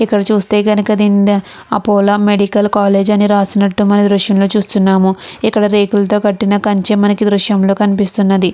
ఇక్కడ చూస్తే గనుక దీని నిండా అపోలో మెడికల్ కాలేజ్ అని రాసి ఉన్నట్టు ఈ దృశ్యంలో చూస్తూ ఉన్నాము ఇక్కడ రేకులతో కట్టిన కంచె మనకి ఈ దృశ్యంగా కనిపిస్తున్నది.